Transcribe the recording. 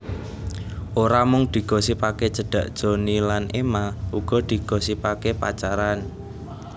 Ora mung digosipake cedhak Johnny lan Emma uga digosipake pacaran